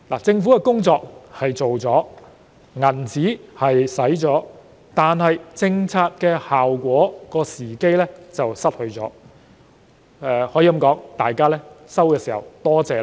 政府做了工夫，錢也花了，但卻失去取得政策效果的時機，市民甚至沒有半句多謝。